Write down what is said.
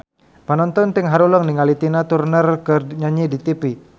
Panonton ting haruleng ningali Tina Turner keur nyanyi di tipi